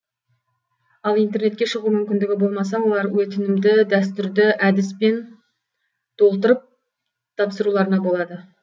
ал интернетке шығу мүмкіндігі болмаса олар өтінімді дәстүрді әдіспен толтырып тапсыруларына болады